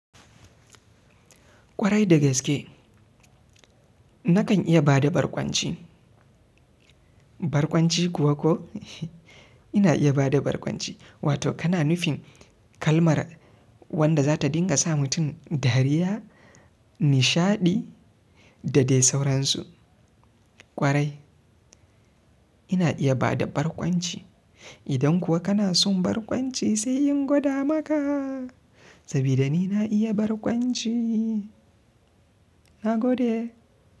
Kwarai da gaske. Nakan iya bada barkwanci. Barkwanci kuwa ko ina iya bada barkwanci. Wato kana nufin kalmar wadda za ta dinga sa mutum dariya, nishaɗi da dai sauransu. Kwarai ina iya bada barkwanci. Idan kuwa kana son barkwanci sai in goda maka saboda ni na iya barkwanci. Na gode.